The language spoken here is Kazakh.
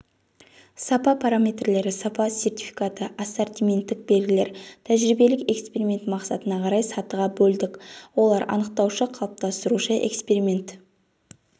сапа параметрлері сапа сертификаты ассортименттік белгілер тәжірибелік эксперимент мақсатына қарай сатыға бөлдік олар анықтаушы қалыптастырушы эксперимент